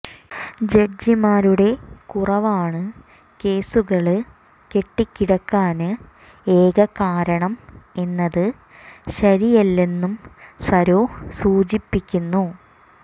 ജഡ്ജിമാരുടെ കുറവാണ് കേസുകള് കെട്ടിക്കിടക്കാന് ഏക കാരണം എന്നത് ശരിയല്ലെന്നും സര്വേ സൂചിപ്പിക്കുന്നു